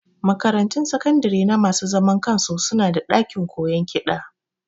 Makaratun sakandare na masu zaman kansu su na da ɗakin koyon kiɗa